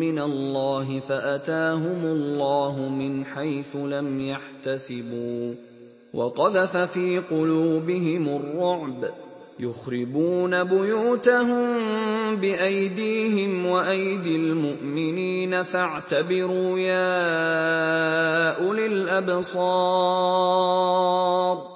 مِّنَ اللَّهِ فَأَتَاهُمُ اللَّهُ مِنْ حَيْثُ لَمْ يَحْتَسِبُوا ۖ وَقَذَفَ فِي قُلُوبِهِمُ الرُّعْبَ ۚ يُخْرِبُونَ بُيُوتَهُم بِأَيْدِيهِمْ وَأَيْدِي الْمُؤْمِنِينَ فَاعْتَبِرُوا يَا أُولِي الْأَبْصَارِ